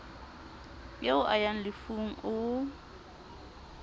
eo a ya lefung o